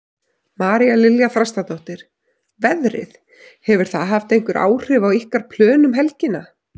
María Lilja Þrastardóttir: Veðrið, hefur það haft einhver áhrif á ykkar plön um helgina?